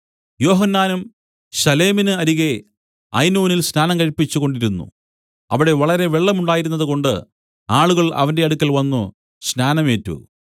യോഹന്നാനും ശലേമിന് അരികത്ത് ഐനോനിൽ സ്നാനം കഴിപ്പിച്ചുകൊണ്ടിരുന്നു അവിടെ വളരെ വെള്ളം ഉണ്ടായിരുന്നതുകൊണ്ട് ആളുകൾ അവന്റെ അടുക്കൽ വന്നു സ്നാനം ഏറ്റു